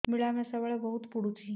ମିଳାମିଶା ବେଳେ ବହୁତ ପୁଡୁଚି